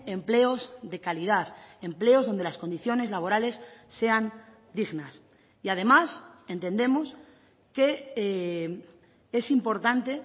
empleos de calidad empleos donde las condiciones laborales sean dignas y además entendemos que es importante